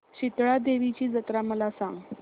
शितळा देवीची जत्रा मला सांग